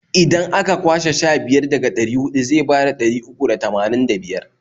Idan a ka kwashe sha biyar daga ɗari huɗu zai bada ɗari uku da tamanin da biyar.